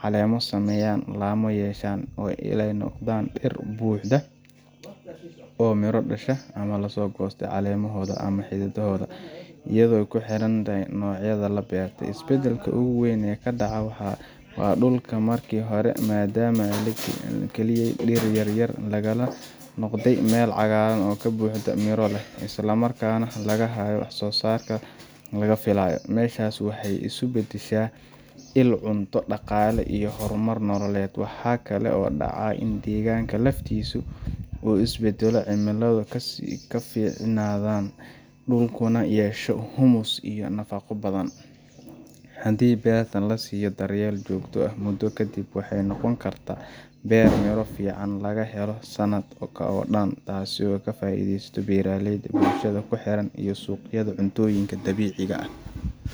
caleemo sameeyaan, laamo yeeshaan, ilaa ay noqdaan dhir buuxa oo miro dhasha ama loo goosto caleemahooda ama xididdadooda – iyadoo ku xiran nooca la beertay. Isbeddelka ugu weyn ee dhaca waa in dhulka markii hore madhnaa ama kaliya dhir yaryar lahaa uu noqdo meel cagaarka ka buuxo, midho leh, isla markaana laga helayo wax-soo-saarka la filaayay. Meeshaas waxay isu beddeshaa il cunto, dhaqaale iyo horumar nololeed. Waxaa kale oo dhaca in deegaanka laftiisu uu is beddelo, cimilada ka sii fiicnaato, dhulkuna yeesho humus iyo nafaqo badan. Haddii beertan la siiyo daryeel joogto ah, muddo kadib waxay noqon kartaa beer miro fiican laga helo sanadka oo dhan, taas ka faa’iidesto beeraleyda, bulshada ku xeeran, iyo suuqyada cuntooyinka dabiiciga ah.